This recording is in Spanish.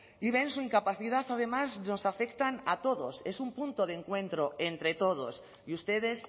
y ven su incapacidad además nos afectan a todos es un punto de encuentro entre todos y ustedes